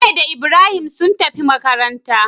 Bello da Ibrahim sun tafi makabarta